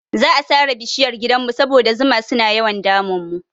Za'a sare bishiyar gidanmu saboda zuma suna yawan damun mu.